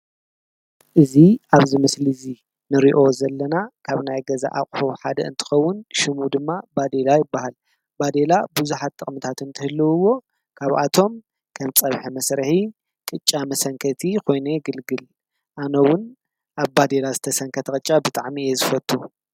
እዙ ኣብዝ ምስል እዙ ንርዮ ዘለና ካብ ናይ ገዛ ኣቝሮ ሓደ እንትኸውን፤ ሽሙ ድማ ባዴላ ይበሃል። ባዴላ ብዙኃጥቕ ምታትን እንተህልዉዎ ካብኣቶም ከም ጸብሐ መሠርሒ ቅጫ መሰንከቲ ኾይነ ግልግል ኣኖውን ኣብ ባዴላ ዝተሰንከ ተቐጫ ብጥዕሚ እየ ዝፈቱ።